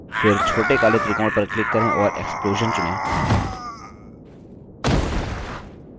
फिर छोटे काले त्रिकोण पर click करें और explosion चुनें